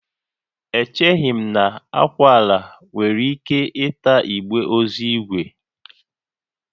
Echeghị m na akwụala nwere ike ịta igbe ozu ígwè